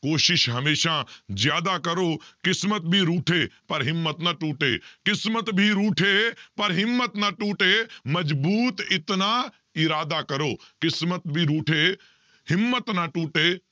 ਕੋਸ਼ਿਸ਼ ਹਮੇਸ਼ਾ ਜ਼ਿਆਦਾ ਕਰੋ, ਕਿਸ਼ਮਤ ਵੀ ਰੂਠੇ ਪਰ ਹਿੰਮਤ ਨਾ ਟੂਟੇ ਕਿਸ਼ਮਤ ਵੀ ਰੂਠੇ ਪਰ ਹਿੰਮਤ ਨਾ ਟੂਟੇ ਮਜ਼ਬੂਤ ਇਤਨਾ ਇਰਾਦਾ ਕਰੋ, ਕਿਸ਼ਮਤ ਵੀ ਰੂਠੇ ਹਿੰਮਤ ਨਾ ਟੂਟੇ